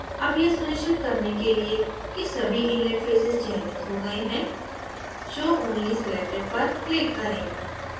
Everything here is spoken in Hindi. अब यह सुनिश्चित करने के लिए कि सभी inlet faces चयनित हो गए हैं show only selected पर click करें